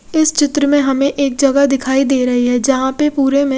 इस चित्र में हमे एक जगह दिखाई दे रही है जहाँ पे पुरे में--